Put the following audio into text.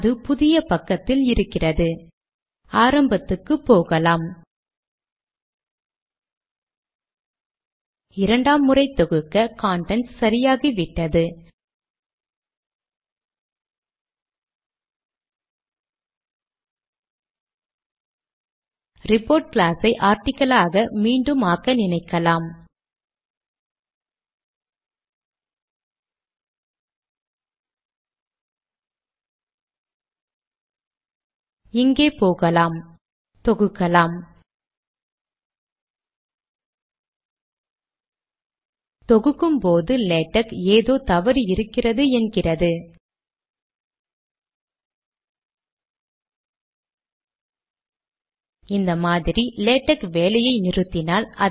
எழுத்துருவின் அளவை பத்து புள்ளிகளுக்கு குறைத்தால் கடிதத்தை மீண்டும் ஒரு பக்கத்தினுள் கொண்டு வர முடிகிறதா என பார்ப்போம்